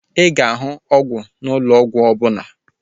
Ị ga-ahụ ọgwụ n'ụlọ ahịa ọgwụ ọbụla